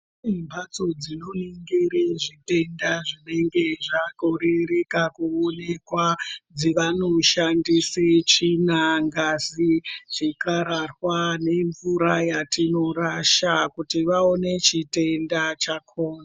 Kune mhatso dzinoningire zvitenda zvinenge zvakoreka kuonekwa dzevanoshandise chinya ngazi chikararwa nemvura yatinorasga kuti vaone chitenda chakona.